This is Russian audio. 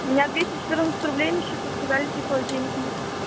у меня двести четырнадцать рублей на счету сказали типа денег нет